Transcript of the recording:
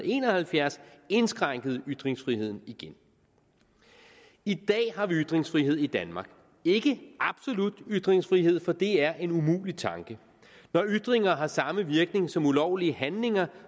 en og halvfjerds indskrænkede ytringsfriheden igen i dag har vi ytringsfrihed i danmark ikke absolut ytringsfrihed for det er en umulig tanke når ytringer har samme virkning som ulovlige handlinger